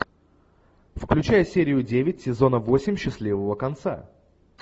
включай серию девять сезона восемь счастливого конца